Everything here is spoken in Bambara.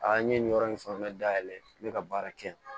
Aa n ye nin yɔrɔ in fɛn bɛɛ dayɛlɛ n bɛ ka baara kɛ